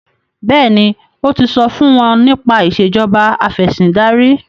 béèni o tí so fún wón nípa Ìṣèjọba Afẹ̀sìndarí